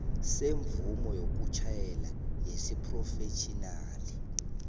semvumo yokutjhayela yesiphrofetjhinali